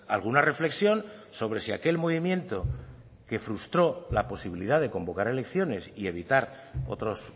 alguna reflexión sobre si aquel movimiento que frustró la posibilidad de convocar elecciones y evitar otros